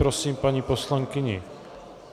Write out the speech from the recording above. Prosím paní poslankyni...